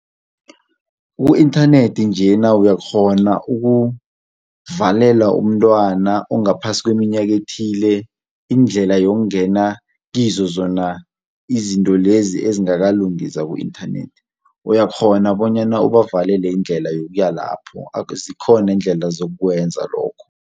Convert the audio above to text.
Ku-inthanethi njena uyakghona ukuvalela umntwana ongaphasi kweminyaka ethile indlela yokungena kizo zona izinto lezi ezingakalungi zaku-inthanethi uyakghona bonyana ubavalele indlela yokuya lapho, zikhona iindlela zokukwenza lokho.